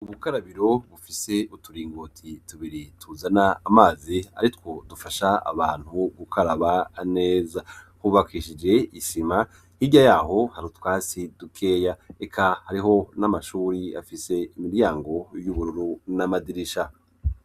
Ubukarabiro bufise uturingoti tubiri ,tuzana amazi aritwo dufasha abantu gukaraba neza ,hubakishije isima, hirya yaho hari utwasi dukeya ,eka hariho n'amashuri afise imiryango y'ubururu n'amadirisha.